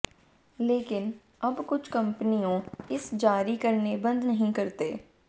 लेकिन अब कुछ कंपनियों इसे जारी करने बंद नहीं करते